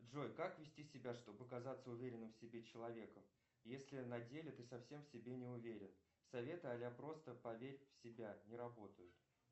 джой как вести себя чтобы казаться уверенным в себе человеком если на деле ты совсем в себе не уверен советы аля просто поверь в себя не работают